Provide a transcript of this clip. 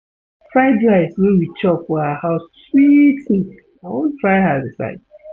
Fried rice wey we chop for her house sweet me, I wan try her recipe